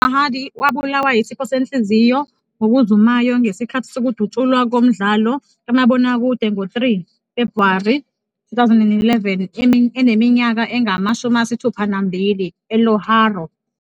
Sarhadi wabulawa yisifo senhliziyo ngokuzumayo ngesikhathi sokudutshulwa komdlalo kamabonakude ngo-3 Febhuwari 2011 eneminyaka engama-62 eLahore.